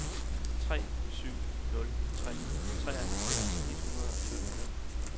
tre syv nul tre treoghalvfjerds et hundrede og sytten